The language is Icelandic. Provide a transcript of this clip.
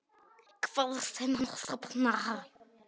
Hvar sem hann sofnar.